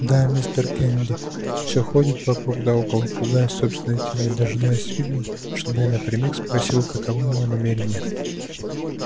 да мистер кеннеди все ходит вокруг да около пугаясь собственной тени дожидается видно чтобы я напрямик спросил каковы его намерения